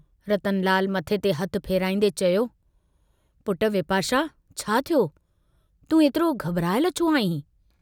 रतनलाल, मथे ते हथु फेराईन्दे चयो, पुट विपाशा छा थियो, तूं एतिरो घबरायल छो आहीं?